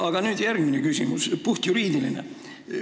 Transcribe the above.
Aga nüüd järgmine küsimus, puhtjuriidiline.